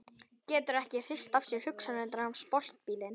Getur ekki hrist af sér hugsanirnar um sportbílinn.